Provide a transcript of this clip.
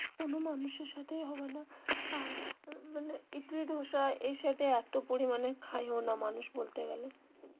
কোনো মানুষের সাথেই হবে না আর মানে ইডলি ধোসা এ সাইড এ এতো পরিমানে খায় ও না মানুষ বলতে গেলে.